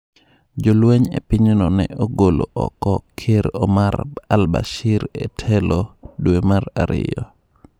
Jolweny e pinyno ne ogolo oko ker Omar al-Bashir e telo dwe mar ariyo.